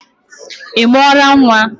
Ị mụọla nwa?